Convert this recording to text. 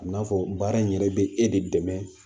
A bi n'a fɔ baara in yɛrɛ be e de dɛmɛ